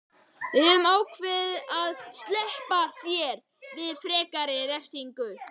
Við höfum ákveðið að SLEPPA ÞÉR VIÐ FREKARI REFSINGU.